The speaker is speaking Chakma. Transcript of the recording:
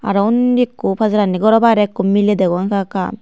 aro undi ekko pajarandi goro bairey ekko miley degong ekka ekka.